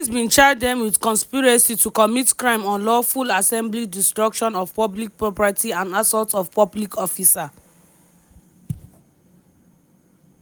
di police bin charge dem wit conspiracy to commit crime unlawful assembly destruction of public property and assault of public officer.